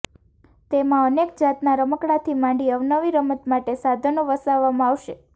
તેમાં અનેક જાતના રમકડાથી માંડી અવનવી રમત માટે સાધનો વસાવવામાં આવશે